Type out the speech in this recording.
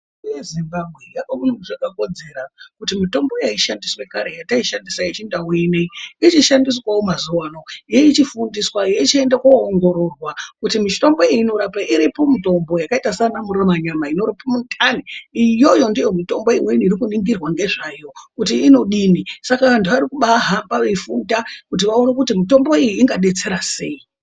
Nyika yeZimbabwe yakaona zvakakodzera kuti mitombo yaishandiswa kare yataishandisa yechindau ineyi ichishandiswawo mazuwano yeichifundiswa yechiende koongororwa kuti mitombo iyi inorapei. Iripo mitombo yakaita sanamurumanyama inorapa mundani iyoyo ndiyo mitombo imweni iri kuningirwa ngezvayo kuti inodini saka vantu vari kubahamba veifunda kuti vaone kuti mitombo iyi ingadetsera seyi.